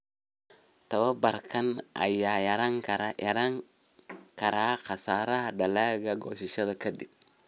Tababarkan ayaa yarayn kara khasaaraha dalagga goosashada ka dib.